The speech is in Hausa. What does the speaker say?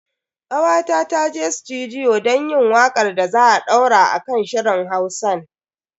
Kawata ta je sutudiyo don yin wakar da za a daura a kan shirin Hausan.